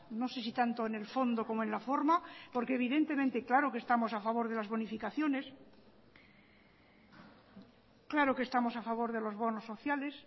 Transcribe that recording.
no sé si tanto en el fondo como en la forma porque evidentemente claro que estamos a favor de las bonificaciones claro que estamos a favor de los bonos sociales